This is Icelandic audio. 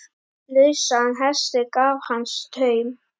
Lausan hesti gaf hann taum.